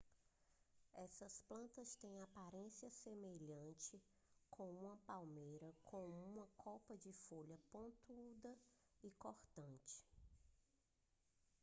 essas plantas têm a aparência semelhante com uma pequena palmeira com uma copa de folhas pontudas e cortantes